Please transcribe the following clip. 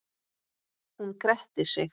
Hún gretti sig.